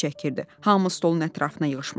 Hamı stolun ətrafına yığışmışdı.